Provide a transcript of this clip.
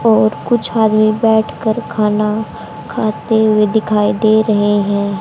और कुछ आदमी बैठकर खाना खाते हुए दिखाई दे रहे हैं।